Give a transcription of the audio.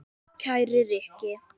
Kæri Rikki.